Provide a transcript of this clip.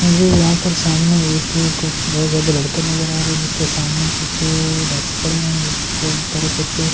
मुझे यहां पर सामने एक कुछ बहुत ज्यादा लड़के नजर आ रहे हैं जिसके सामने कुछ डक्स पड़े हुए हैं उसके ऊपर कुछ--